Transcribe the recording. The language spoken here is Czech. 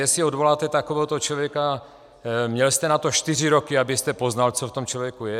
Jestli odvoláte takovéhoto člověka, měl jste na to čtyři roky, abyste poznal, co v tom člověku je.